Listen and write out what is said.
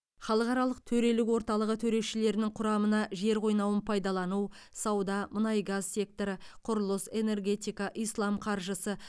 халықаралық төрелік орталығы төрешілерінің құрамына жер қойнауын пайдалану сауда мұнай газ секторы құрылыс энергетика ислам қаржысы